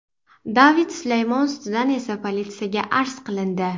David Sulaymon ustidan esa politsiyaga arz qilindi.